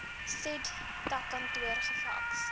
said takkantoor gefaks